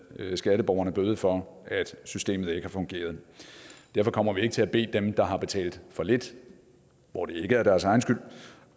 skatteborgerne bøde for at systemet ikke har fungeret derfor kommer vi ikke til at bede dem der har betalt for lidt hvor det ikke er deres egen skyld